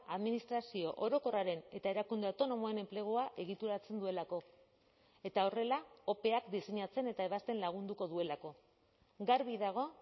administrazio orokorraren eta erakunde autonomoen enplegua egituratzen duelako eta horrela opeak diseinatzen eta ebazten lagunduko duelako garbi dago